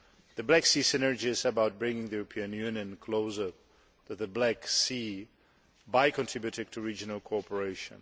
The Black Sea Synergy is about bringing the European Union closer to the Black Sea by contributing to regional cooperation.